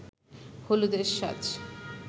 হলুদের সাজ